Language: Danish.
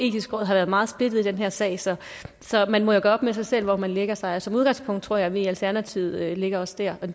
etiske råd har været meget splittet i den her sag så så man må gøre op med sig selv hvor man lægger sig men som udgangspunkt tror jeg vi i alternativet lægger os der